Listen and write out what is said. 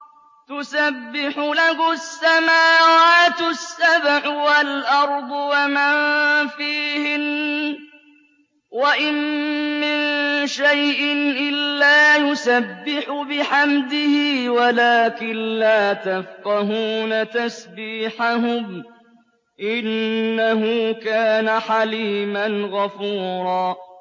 تُسَبِّحُ لَهُ السَّمَاوَاتُ السَّبْعُ وَالْأَرْضُ وَمَن فِيهِنَّ ۚ وَإِن مِّن شَيْءٍ إِلَّا يُسَبِّحُ بِحَمْدِهِ وَلَٰكِن لَّا تَفْقَهُونَ تَسْبِيحَهُمْ ۗ إِنَّهُ كَانَ حَلِيمًا غَفُورًا